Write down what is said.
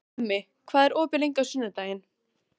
Hemmi, hvað er opið lengi á sunnudaginn?